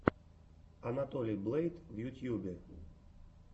анатолий блэйд в ютьюбе